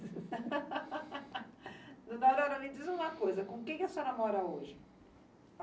Dona Aurora, me diz uma coisa, com quem que a senhora mora hoje?